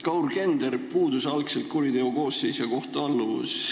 Kaur Kender – puudus algselt kuriteokoosseis ja kohtualluvus.